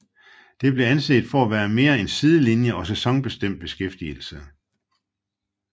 Det blev anset for at være mere en sidelinje og sæsonbestemt beskæftigelse